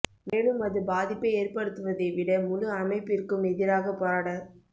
மேலும் அது பாதிப்பை ஏற்படுத்துவதை விட முழு அமைப்பிற்கும் எதிராக போராடத்